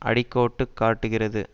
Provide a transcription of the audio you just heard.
அடிக்கோட்டுக் காட்டுகிறது